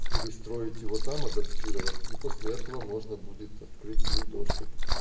перестроить его там адаптировать и после этого можно будет открыть ей доступ